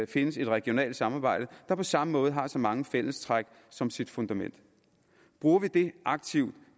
findes et regionalt samarbejde der på samme måde har så mange fællestræk som sit fundament bruger vi det aktivt